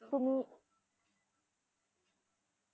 आणि एवढ्या एवढ्यातून सहा महिने